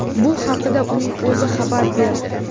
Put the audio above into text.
Bu haqida uning o‘zi xabar berdi.